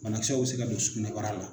Banakisɛw bɛ se ka don sugunɛbara la.